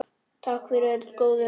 Takk fyrir öll góðu ráðin.